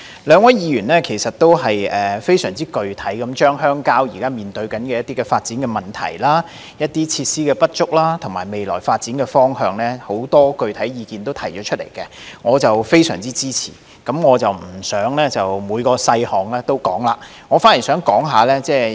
兩位議員非常具體地提出了很多鄉郊現時面對的發展問題、設施不足的情況，以及未來發展方向的意見，我十分支持，但我不會就每個細項逐一說明。